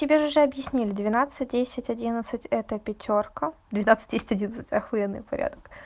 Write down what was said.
тебе же уже объяснили двенадцать десять одиннадцать это пятёрка двенадцать десять одиннадцать ахуенный порядок